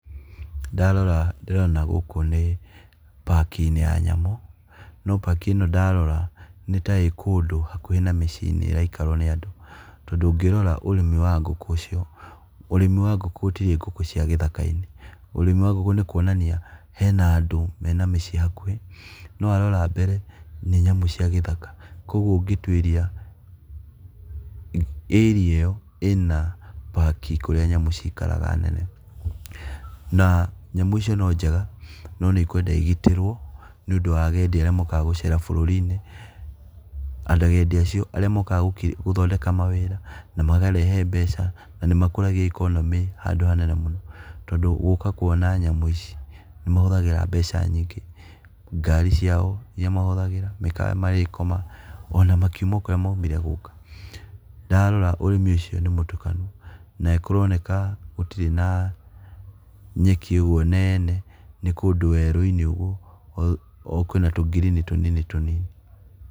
Ndarora ndĩrona gũkũ nĩ park inĩ ya nyamũ no park ĩno ndarora nĩtaĩkũndũ hakuhĩ na mĩciĩnĩ ĩraikarwo nĩ andũ tondũ ũngĩrora ũrĩmi wa ngũkũ icio, tondũ ũngĩrira ũrĩmi wa ngũkũ icio, ũrĩmi wa ngũkũ gũtirĩ ngũkũ cia gĩthakainĩ, ũrĩmi wa ngũkũ nĩ kwonania hena andũ mena mĩciíĩ hakuhĩ no ndarora mbere nĩ nyamũ cia gĩthaka, kwoguo ũngĩtũĩria area ĩyo ĩna park kũrĩa nyamũ cikaraga nene, na nyamũ icio nĩ njega no nĩkwenda igĩtĩrwo nĩũndũ wa agendi arĩa mokaga gũcera bũrũrinĩ na agendĩ acio arĩa mokaga gũthondeka mawĩra na makarehe mbeca na nĩmakũragia economy handũ hanene mũno, tondũ gũka kwona nyamũ ici nĩmahũthagĩra mbeca nyingĩ, ngari ciao iria mahũthagĩra, mĩkawa marĩkoma, ona makiuma kũrĩa maũmire gũka, ndarora ũrĩmi ũcio nĩmũtukanu na kũronekaa gũtirĩ na[uhh]na nyaki ĩrĩa nene nĩkũndũ werũinĩ ũguo ona kwĩna tũ green tũnini tũnini .